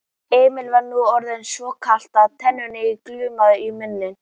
Emil var nú orðið svo kalt að tennurnar glömruðu í muninum.